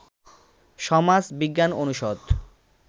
সমাজ বিজ্ঞান অনুষদ